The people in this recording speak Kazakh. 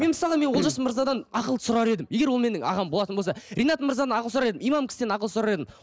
мен мысалға мен олжас мырзадан ақыл сұрар едім егер ол менің ағам болатын болса ринат мырзадан ақыл сұрар едім имам кісіден ақыл сұрар едім